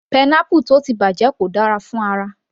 Pineapple tó ti bàjẹ́ kò dára fún ara